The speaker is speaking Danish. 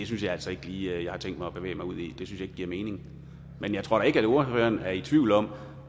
synes jeg altså ikke lige at jeg har tænkt mig at bevæge mig ud i ikke giver mening men jeg tror ikke at ordføreren er i tvivl om